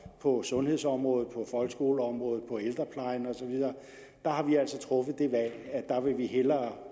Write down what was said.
på sundhedsområdet på folkeskoleområdet og på ældreplejen og så videre har vi altså truffet det valg at vi hellere